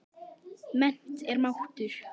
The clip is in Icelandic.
Mennt er máttur.